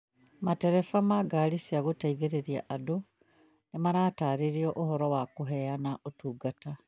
Matereba ma ngaari cia gũteithĩrĩria andũ nĩ marataarĩrio ũhoro wa kũheana ũtungata